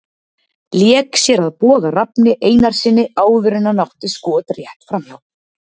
Lék sér að Boga Rafni Einarssyni áður en hann átti skot rétt framhjá.